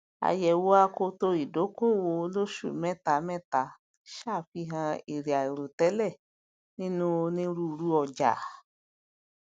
àyẹwo akoto ìdókòòwò olóṣù mẹtamẹta ṣàfihàn èrè àìròtẹlẹ nínu onírúurú ọjà